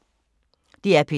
DR P2